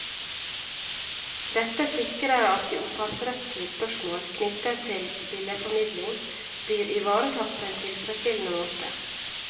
Dette sikrer at de opphavsrettslige spørsmål knyttet til billedformidling blir ivaretatt på en tilfredsstillende måte.